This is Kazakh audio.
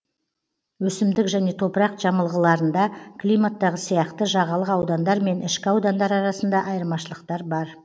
өсімдік және топырақ жамылғыларында климаттағы сияқты жағалық аудандар мен ішкі аудандар арасында айырмашылықтар бар